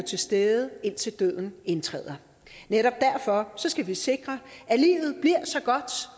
til stede indtil døden indtræder netop derfor skal vi sikre at livet bliver så godt